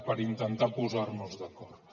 per intentar posar nos d’acord